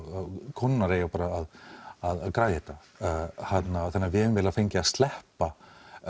konurnar eigi bara að græja þetta þannig að við eiginlega fengið að sleppa